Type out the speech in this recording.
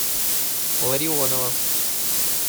ларионова